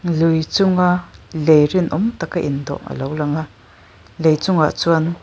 lui chunga lei rinawm taka indawh alo langa lei chungah chuan--